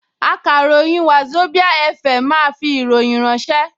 Akàròyìn Wazobia FM máa fi ìròyìn ránṣẹ́